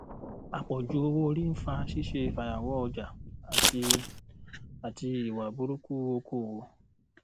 àpọjù owóorí ń fa ṣíṣe fàyàwọ ọjà àti àti ìwà burúkú okòòwò